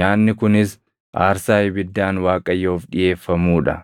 nyaanni kunis aarsaa ibiddaan Waaqayyoof dhiʼeeffamuu dha.